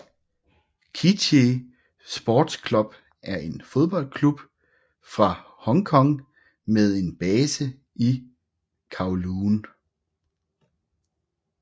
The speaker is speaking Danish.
Kitchee Sports Club er et fodboldhold fra Hong Kong med base i Kowloon